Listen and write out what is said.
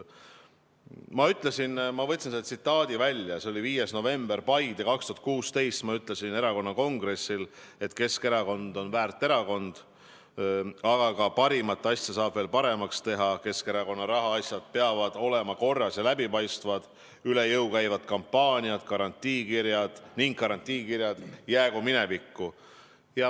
Ma võtsin välja tsitaadi, see oli 5. novembril 2016 Paides, kui ma ütlesin erakonna kongressil, et Keskerakond on väärt erakond, aga ka parimat asja saab veel paremaks teha, Keskerakonna rahaasjad peavad olema korras ja läbipaistvad, üle jõu käivad kampaaniad ning garantiikirjad jäägu minevikku.